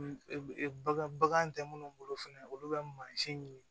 Bagan bagan tɛ minnu bolo fɛnɛ olu bɛ mansin ɲini